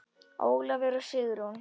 Ólafur og Sigrún.